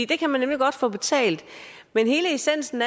det kan man nemlig godt få betalt men hele essensen